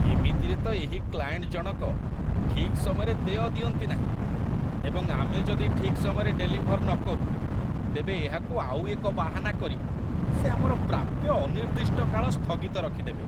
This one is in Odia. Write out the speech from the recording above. ଏମିତିରେ ତ ଏହି କ୍ଲାଏଣ୍ଟ ଜଣକ ଠିକ୍ ସମୟରେ ଦେୟ ଦିଅନ୍ତି ନାହିଁ, ଏବଂ ଆମେ ଯଦି ଠିକ୍ ସମୟରେ ଡେଲିଭର୍ ନକରୁ, ତେବେ ଏହାକୁ ଆଉ ଏକ ବାହାନା କରି ସେ ଆମର ପ୍ରାପ୍ୟ ଅନିର୍ଦ୍ଦିଷ୍ଟ କାଳ ସ୍ଥଗିତ ରଖିଦେବେ।